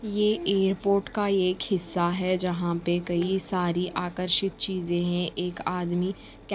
ये एयरपोर्ट का एक हिस्सा है जहाँ पे कई सारी आकर्षित चीज़ें हैं एक आदमी--